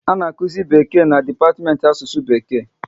A na akuzi Bekee na dipatiment Asụsụ Bekee